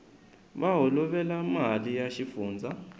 va holovela mali ya xifundzha